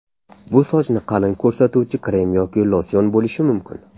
Bu sochni qalin ko‘rsatuvchi krem yoki losyon bo‘lishi mumkin.